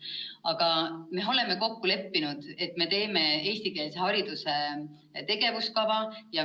Aga me oleme kokku leppinud, et teeme eestikeelse hariduse tegevuskava.